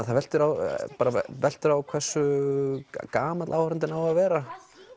það veltur á veltur á hversu gamall áhorfandinn á að vera